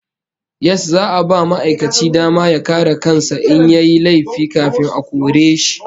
Yes, za'a ba ma'aikaci dama ya kare kan sa in yayi laifi kafin a kore shi